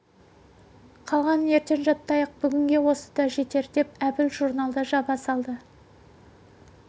қалғанын ертең жаттайық бүгінге осы да жетер деп әбіл журналды жаба салды